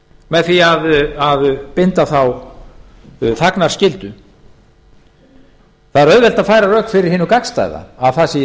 með því að binda þá þagnarskyldu það er auðvelt að færa rök fyrir hinu gagnstæða að það sé í